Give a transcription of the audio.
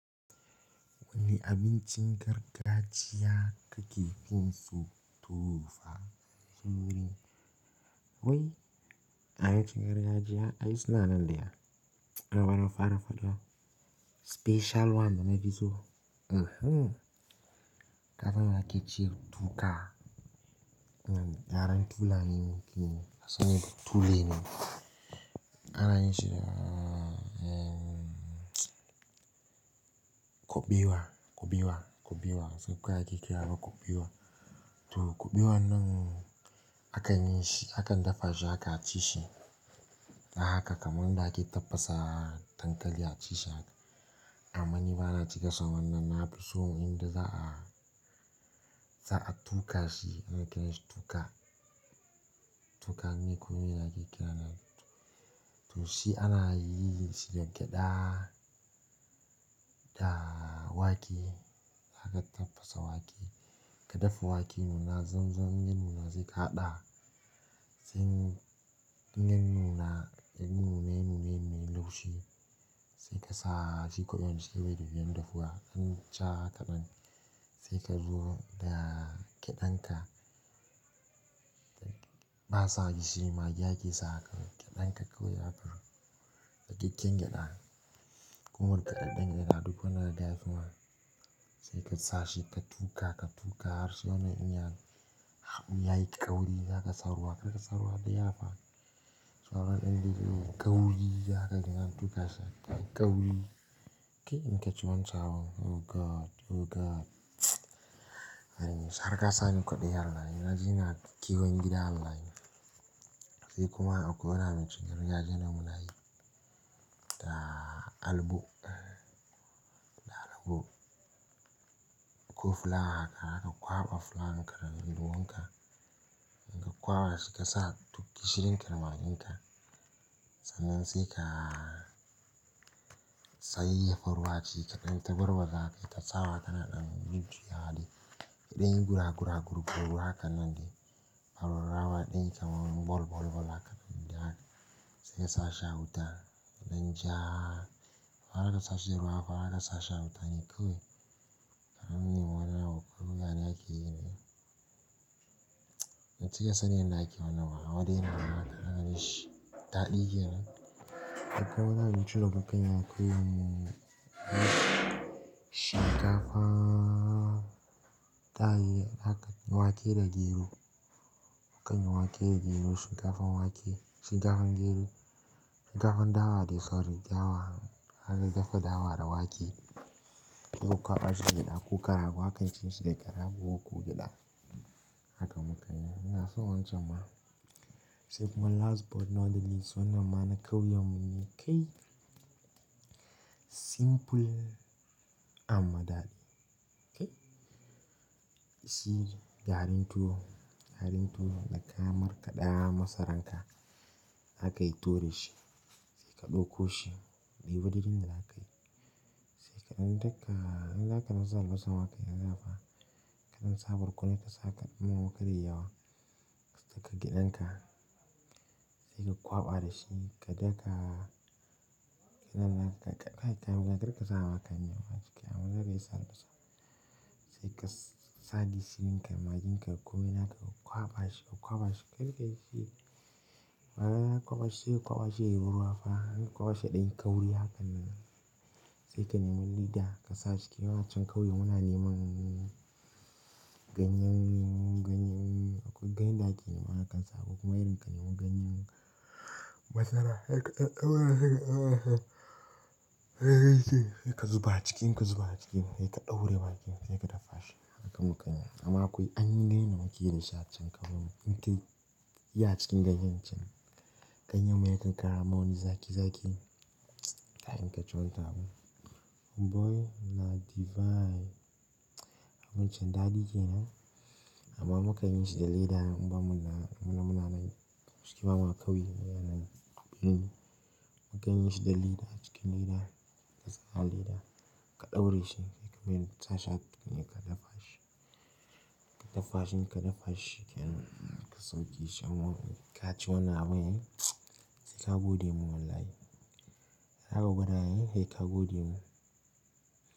Wani abincin gargajiya kake fin so to fa? Zuri. Wai abincin gargajiya? Ai suna nan da ya, rawaro farafaɗa. Special one dana fi so Kada na yake cire toka. Na gyaran tulani ne, kuma sannan tuleni. Ana yin shi da, kuɓewa, kuɓewa, kuɓewa. Sai kai ake kira wa kuɓewa. Toh kuɓewan nan akan yi shi, akan dafa shi aka ci shi. Na haka kamar yanda ake tabbasa dankali a ci shi haka. Amma ni bana cika son wannan, na fi so inda za a, za a tuka shi. Ana kiranshi toka. Toka ne komai ake kira nan. Toh shi ana yin shi da gyada da wake. Zaka tafasa wake. Ka dafa wake ya nuna, zan zan inya nuna sai ka haɗa. Sai inya nuna, inya nuna nuna yayi laushi. Sai ka sa shi kubewan cikn yayi tafiya dafuwa. An ca haka ɗan. Sai ka zo da gyadan ka. Ba sa gishiri magi ake sawa kawai. Gyadan ka koyi abubuwa. Dakakken gyada. Kuma gyadan yana duk wanda kaga yafi ma. Sai ka sa shi ka tuka, ka tuka har sai wanan din ya, ya yi ƙauri, zaka sa ruwa. Karka sa ruwa da yawa fa. Sauro ɗin da yake ƙauri, haka kika tuka shi. Ƙauri. Kai in ka ci wancan abu oh God! Oh God! Ai har ka sani kwadayi wallahi na ji ina kewon gida wallahi. Sai kuma akwai wani abincin gargajiya da muna yi. Da albo. Da albo. Ko fulawa haka, zaka kwaɓa fulawan ka daga linduwan ka. In ka kwaɓa shi ka sa duk gishirin ka da magin ka. Sannan sai ka sayayya faruwa ci ka ɗan, ta barba haka, ta sawa kana ɗan jujjuyawa dai. Idan yi gura gura gurbu haka nan dai. Faru rawa ɗan yi kamar bol bol bol haka nan dai haka. Sai ka sa shi a wuta. Dan ja. Haka ka sashi ruwa haka, haka ka sa shi a wuta ne kawai. Karamin wanan, ya ke yi ne. In ka sani yanda ake wannan ba, amma dai yana mata, hakan shi, daɗi kenan. Akwai wani abinci da muka yi mu kawai mu, shinkafa, taye, haka wake da gero. Mukan yi wake da gero, shinkafan wake, shinkafan gero. Shinkafan dawa dai sorry dawa. Aka dafa dawa da wake. Ku kwaɓa shi gyada ko karago. Haka ake cire shi daga rago ko gyada. Haka muka yi. Ina so wancan ma. Sai kuma last but not the least wannan ma na ƙauyen mu ne kai. Simple amma daɗi. Kai. Shi garin tuwo. Garin tuwo da kamar kaɗa masaran ka. Aka yi tuwo da shi. Sai ka ɗauko shi. Da yiwadin da za ka yi. Sai kaɗan daka, in zaka na sa albasar haka ya zafa. Kaɗan sabarku ne ka sa kaɗan ruwa kar yayi yawa. Sai ka gyadan ka. Sai ka kwaɓa da shi. Ka daka. Kaɗa kai kam, karka sa wa kanyan wa cike amma zai iya sa albasa. Sai ka sa gishirinka, magin ka komai naka ka kwaɓa shi, kwaɓa shi. Kai gaishe. Bayan an kwaɓa shi sai kwaɓa shi yayi ruwa fa. Haka aka kwaɓa shi ɗan ƙauri haka nan. Sai ka nemi leda, ka sa ciki. Wan can kawai muna neman ganyen, ganyen, akwai ganyen da ake nema hakansa akwai kuma irin ka nemi ganyen masara. Haka, haka haka haka. Haka yake. Sai ka zuba a ciki, in ka zuba a ciki sai ka ɗaure bakin, sai ka dafa shi. Haka muka yi. Amma akwai ainihi yanda muke yi da shi a cikin ƙauyen mu. In kai ya cikin ganyen can. Ganyan mu yakan kara mun wani zaki zaki. Kai in ka ci wancan abu. Boy! Na divine. Wancan daɗi ke nan. Amma muka yin shi da leda, in ba mu na, muna muna na yi. Cikin mamu a ƙauye yana nan. Mun yi. Ganyen shi da leda. Cikin leda. Ka sa leda. Ka ɗaure shi. Kai kuma in ka sashi, a tukunya ka dafa shi. Ka dafa shi in ka dafa shi, kenan ka sauke shi a cikin wani, ka ci wannan ma yi. Sai ka gode mun wallahi. Zaka gwada ne, sai ka gode mun.